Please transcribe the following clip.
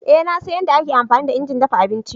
Ee na san yadda ake amfani da injin dafa abinci.